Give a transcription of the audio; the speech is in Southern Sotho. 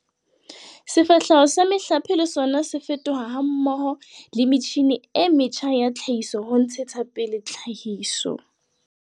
Sefahleho sa mehlape le sona se fetoha mmoho le metjhine e metjha ya tlhahiso ho ntshetsa pele tlhahiso.